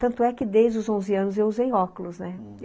Tanto é que desde os onze anos eu usei óculos, né.